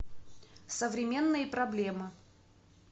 современные проблемы